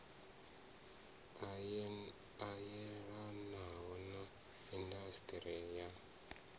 a yelanaho na indasiṱiri ya